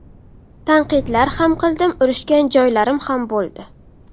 Tanqidlar ham qildim, urushgan joylarim ham bo‘ldi.